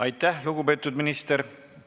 Aitäh, lugupeetud minister!